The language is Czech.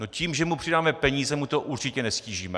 No, tím, že mu přidáme peníze, mu to určitě neztížíme.